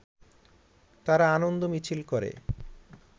তারা আনন্দ মিছিল করে